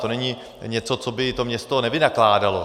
To není něco, co by to město nevynakládalo.